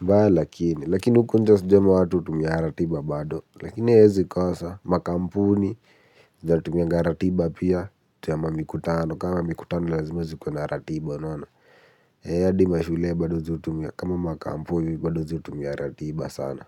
Mbaya lakini lakini huku nje sijui watu hutumia ratiba bado. Lakini hawezi kosa makampuni. Zinatumia ratiba pia sema mikutano. Kama mikutano lazima zikue na ratiba hadi mashule bado huzitumia. Kama makampuni bado huzitumia ratiba sana.